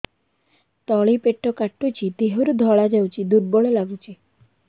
ତଳି ପେଟ କାଟୁଚି ଦେହରୁ ଧଳା ଯାଉଛି ଦୁର୍ବଳ ଲାଗୁଛି